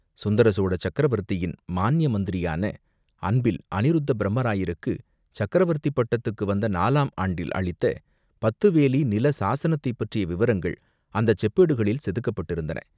சுந்தரசோழ சக்கரவர்த்தியின் மான்ய மந்திரியான அன்பில் அநிருத்தப்பிரமராயருக்குச் சக்கரவர்த்தி பட்டத்துக்கு வந்த நாலாம் ஆண்டில் அளித்த பத்து வேலி நில சாஸனத்தைப் பற்றிய விவரங்கள் அந்தச் செப்பேடுகளில் செதுக்கப்பட்டிருந்தன.